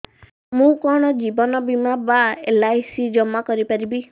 ମୁ କଣ ଜୀବନ ବୀମା ବା ଏଲ୍.ଆଇ.ସି ଜମା କରି ପାରିବି